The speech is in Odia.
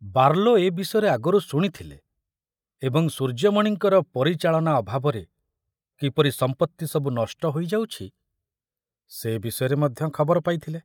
ବାର୍ଲୋ ଏ ବିଷୟରେ ଆଗରୁ ଶୁଣିଥିଲେ ଏବଂ ସୂର୍ଯ୍ୟମଣିଙ୍କର ପରିଚାଳନା ଅଭାବରେ କିପରି ସମ୍ପରି ସବୁ ନଷ୍ଟ ହୋଇଯାଉଛି ସେ ବିଷୟରେ ମଧ୍ୟ ଖବର ପାଇଥିଲେ।